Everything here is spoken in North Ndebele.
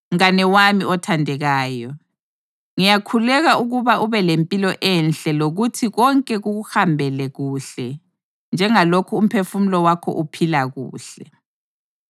Mngane wami othandekayo, ngiyakhuleka ukuba ube lempilo enhle lokuthi konke kukuhambele kuhle njengalokhu umphefumulo wakho uphila kuhle.